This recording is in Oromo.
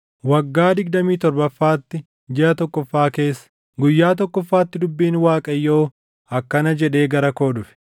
Waggaa digdamii torbaffaatti, jiʼa tokkoffaa keessa, guyyaa tokkoffaatti dubbiin Waaqayyoo akkana jedhee gara koo dhufe: